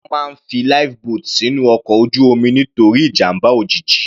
Wọ́n máa ń fi Life boat sínú ọkọ̀ ojú omi nítorí ìjàmbá òjijì.